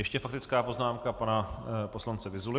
Ještě faktická poznámka pana poslance Vyzuly.